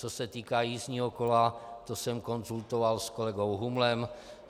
Co se týká jízdního kola, to jsem konzultoval s kolegou Humlem.